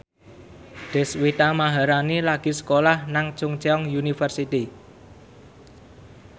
Deswita Maharani lagi sekolah nang Chungceong University